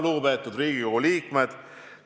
Lugupeetud Riigikogu liikmed!